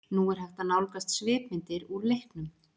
Nú er hægt að nálgast svipmyndir úr leiknum.